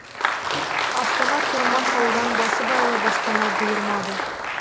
астана тұрмақ ауылдан басыбайлы баспана бұйырмады